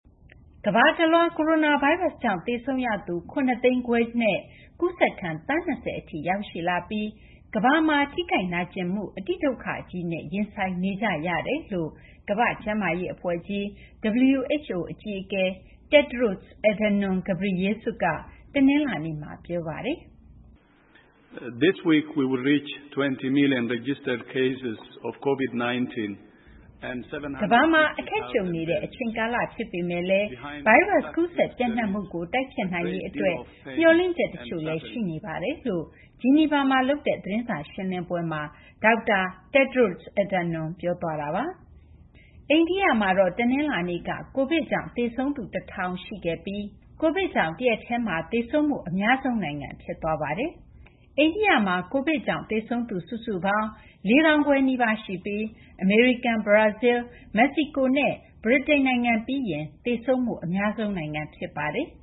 ကမ္ဘာတလွှား ကိုရိုနာဗိုင်းပ်စ်ကြောင့် သေဆုံးရသူ ၇၅၀,၀၀၀ နဲ့ ကူးစက်ခံ သန်း ၂၀ ထိ ရောက်ရှိလာပြီး ကမ္ဘာတလွှားမှာ ထိခိုက်နာကျင်မှု အတိဒုက္ခကြီးနဲ့ ရင်ဆိုင်နေကြရတယ်လို့ ကမ္ဘာ့ကျန်းမာရေး အဖွဲ့ကြီး WHO အကြီးအကဲ Tedros Adhanom Ghebreyesus က တနလာၤနေ့မှာ ပြောဆိုလိုက်ပါတယ်။ “ကမ္ဘာမှာ အခက်ကြုံနေရတဲ့ အချိန်ကာလ ဖြစ်ပေမယ့်လည်း ကိုရိုနာဗိုင်းရပ်စ် ကူးစက် ပျံ့နှံ့မှုကို တိုက်ဖျက်နိုင်ရေး အတွက် မျှော်လင့်ချက် တချို့လည်း ရှိနေပါတယ်” လို့ ဂျီနီဗာမှာ လုပ်တဲ့ သတင်းစာရှင်းလင်းပွဲမှာ Tedros Adhanom က ပြောသွားပါတယ်။ အိန္ဒိယမှာတော့ တနလာၤနေ့က COVID ကြောင့် သေဆုံးသူ ၁,၀၀၀ ရှိခဲ့ပြီး COVID ကြောင့် တရက်တည်းမှာ သေဆုံးမှု အများဆုံး နိုင်ငံ ဖြစ်သွားပါတယ်။ အိန္ဒိယမှာ COVID ကြောင့် သေဆုံးသူ ၄၄,၃၈၆ ဦး ရှိပြီး အမေရိကန်၊ ဘရာဇီလ်း၊ မက္ကဆီကိုနဲ့ ဗြိတိန် ပြီးရင် သေဆုံးမှု အများဆုံး နိုင်ငံ ဖြစ်ပါတယ်။